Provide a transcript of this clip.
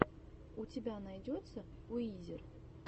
у тебя найдется уизер